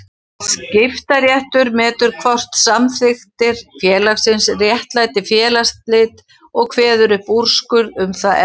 Skiptaréttur metur hvort samþykktir félagsins réttlæti félagsslit og kveður upp úrskurð um það efni.